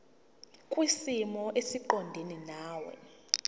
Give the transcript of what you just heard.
kwisimo esiqondena nawe